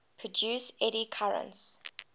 produce eddy currents